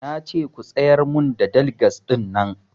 Nace ku tsayar mun da daligas ɗin nan